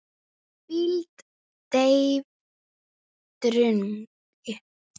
hvíld, deyfð, drungi